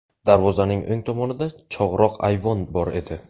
Darvozaning o‘ng tomonida chog‘roq ayvon bor edi.